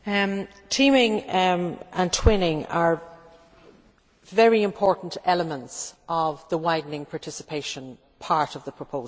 Teaming and twinning are very important elements of the widening participation part of the proposal.